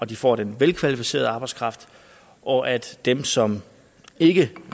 de får en velkvalificeret arbejdskraft og at dem som ikke